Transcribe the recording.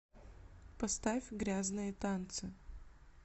поставь грязные танцы